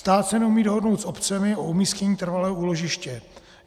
Stát se neumí dohodnout s obcemi o umístění trvalého úložiště.